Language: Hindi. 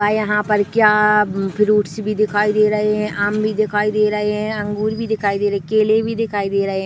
और यहाँ पर क्या फ्रूइट्स भी दिखाई दे रहे है आम भी दिखाई दे रहे है अंगूर भी दिखाई दे रहे है केले भी दिखाई दे रहे है।